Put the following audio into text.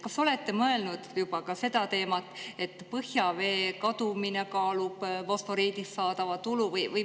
Kas olete mõelnud juba ka seda teemat, et põhjavee kadumine kaalub üles fosforiidist saadava tulu?